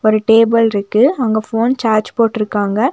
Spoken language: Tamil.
ஒரு டேபிள்ருக்கு அங்க போன் சார்ஜ் போட்ருக்காங்க.